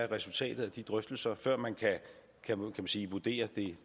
resultatet af de drøftelser før man kan vurdere